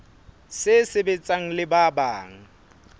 se sebetsang le ba bang